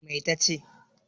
Mai ta ce?